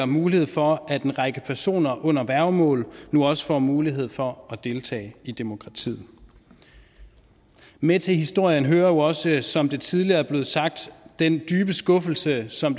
mulighed for at en række personer under værgemål nu også får mulighed for at deltage i demokratiet med til historien hører jo også som det tidligere er blevet sagt den dybe skuffelse som